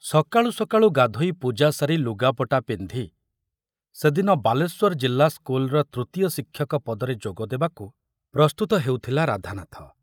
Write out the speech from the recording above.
ସକାଳୁ ସକାଳୁ ଗାଧୋଇ ପୂଜା ସାରି ଲୁଗାପଟା ପିନ୍ଧି ସେଦିନ ବାଲେଶ୍ୱର ଜିଲ୍ଲା ସ୍କୁଲର ତୃତୀୟ ଶିକ୍ଷକ ପଦରେ ଯୋଗ ଦେବାକୁ ପ୍ରସ୍ତୁତ ହେଉଥିଲା ରାଧାନାଥ।